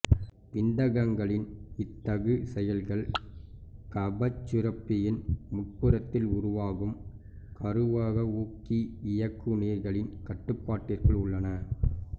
விந்தகங்களின் இத்தகு செயல்கள் கபச்சுரப்பியின் முன்புறத்தில் உருவாகும் கருவகவூக்கி இயக்குநீர்களின் கட்டுப்பாட்டிற்குள் உள்ளன